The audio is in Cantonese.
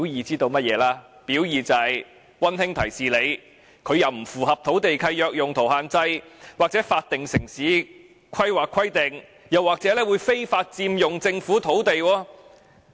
就是溫馨提示你，龕場既不符合土地契約用途限制或法定城市規劃規定，又或非法佔用政府土地。